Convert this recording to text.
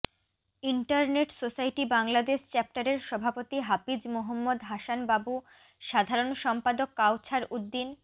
internet society Bangladesh চ্যাপ্টারের সভাপতি হাফিজ মোহাম্মদ হাসান বাবু সাধারন সম্পাদক কাওছার উদ্দীন